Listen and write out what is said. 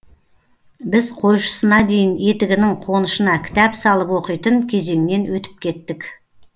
біз қойшысына дейін етігінің қонышына кітап салып оқитын кезеңнен өтіп кеттік